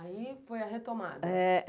Aí foi a retomada?